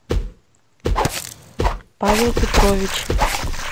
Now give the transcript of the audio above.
павел петрович